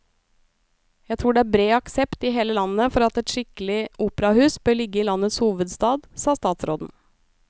Jeg tror det er bred aksept i hele landet for at et skikkelig operahus bør ligge i landets hovedstad, sa statsråden.